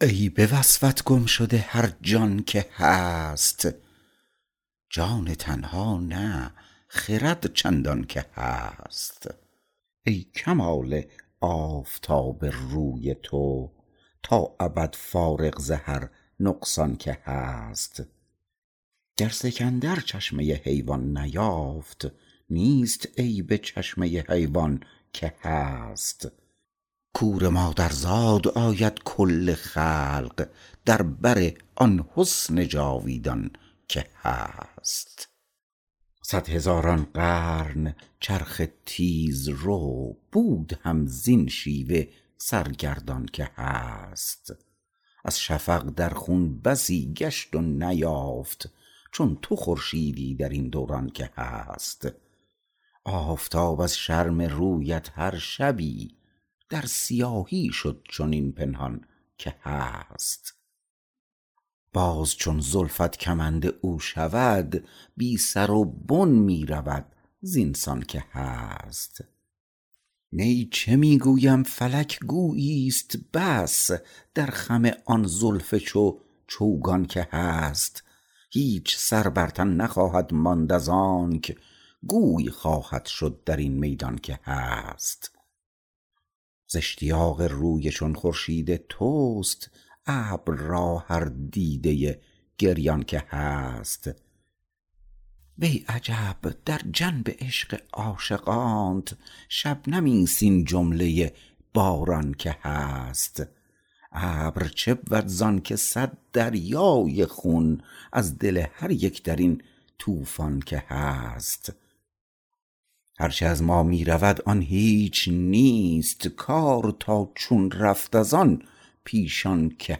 ای به وصفت گم شده هرجان که هست جان تنها نه خرد چندان که هست وی کمال آفتاب روی تو تا ابد فارغ ز هر نقصان که هست گر سکندر چشمه حیوان نیافت نیست عیب چشمه حیوان که هست کور مادرزاد آید کل خلق در بر آن حسن جاویدان که هست صد هزاران قرن چرخ تیزرو بود هم زین شیوه سرگردان که هست از شفق در خون بسی گشت و نیافت چون تو خورشیدی درین دوران که هست آفتاب از شرم رویت هر شبی در سیاهی شد چنین پنهان که هست باز چون زلفت کمند او شود بی سر و بن می رود زین سان که هست نی چه می گویم فلک گویی است بس در خم آن زلف چون چوگان که هست هیچ سر بر تن نخواهد ماند از انک گوی خواهد شد درین میدان که هست زاشتیاق روی چون خورشید توست ابر را هر دیده گریان که هست وی عجب در جنب عشق عاشقانت شبنمی است این جمله باران که هست ابر چبود زانکه صد دریای خون از دل هر یک درین طوفان که هست هرچه از ما می رود آن هیچ نیست کار تا چون رفت از آن پیشان که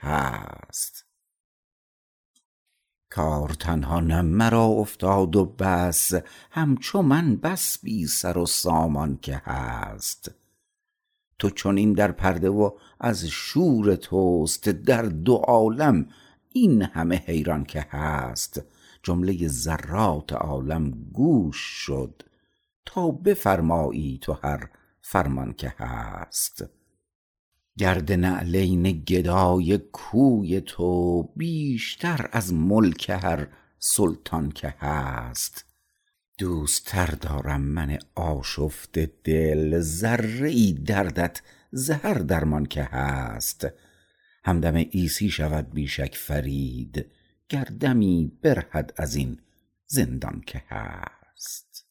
هست کار تنها نه مرا افتاد و بس همچو من بس بی سر و سامان که هست تو چنین در پرده و از شور توست در دو عالم این همه حیران که هست جمله ذرات عالم گوش شد تا بفرمایی تو هر فرمان که هست گرد نعلین گدای کوی تو بیشتر از ملک هر سلطان که هست دوست تر دارم من آشفته دل ذره ای دردت ز هر درمان که هست همدم عیسی شود بی شک فرید گر دمی برهد ازین زندان که هست